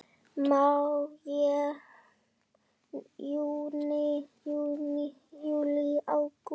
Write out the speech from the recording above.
Maí Júní Júlí Ágúst